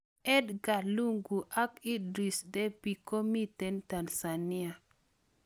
Edgar lungu ak Idris debby komiten Tanzania